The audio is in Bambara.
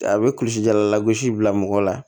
A bɛ kulisi jalala gosi bila mɔgɔ la